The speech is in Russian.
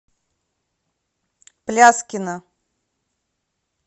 пляскина